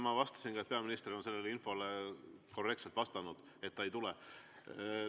Ma vastasin ka, et peaminister on sellele infole korrektselt vastanud, et ta ei tule.